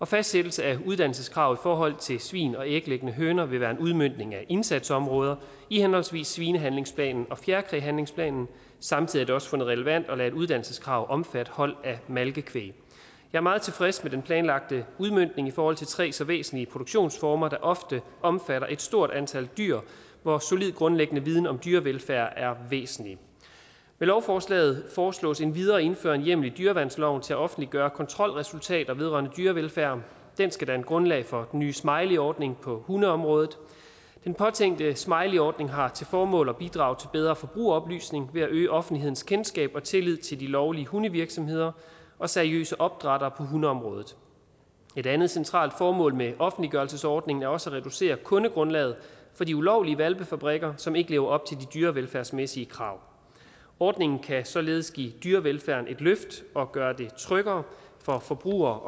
fastsættelse af uddannelseskravet i forhold til svin og æglæggende høner vil være en udmøntning af indsatsområder i henholdsvis svinehandlingsplanen og fjerkræhandlingsplanen samtidig er det også fundet relevant at lade et uddannelseskrav omfatte hold af malkekvæg jeg meget tilfreds med den planlagte udmøntning i forhold til tre så væsentlige produktionsformer der ofte omfatter et stort antal dyr hvor solid grundlæggende viden om dyrevelfærd er væsentlig med lovforslaget foreslås endvidere at indføre en hjemmel i dyreværnsloven til at offentliggøre kontrolresultater vedrørende dyrevelfærd den skal danne grundlag for den nye smileyordning på hundeområdet den påtænkte smileyordning har til formål at bidrage til bedre forbrugeroplysning ved at øge offentlighedens kendskab og tillid til de lovlige hundevirksomheder og seriøse opdrættere på hundeområdet et andet centralt formål med offentliggørelsesordningen er også at reducere kundegrundlaget for de ulovlige hvalpefabrikker som ikke lever op til dyrevelfærdsmæssige krav ordningen kan således give dyrevelfærden et løft og gøre det tryggere for forbrugere